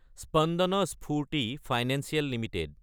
Spandana Sphoorty financial Ltd